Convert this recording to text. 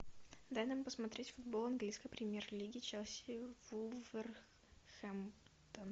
дай нам посмотреть футбол английской премьер лиги челси вулверхэмптон